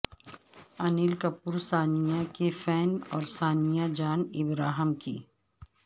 انیل کپور ثانیہ کے فین اور ثانیہ جان ابراہم کی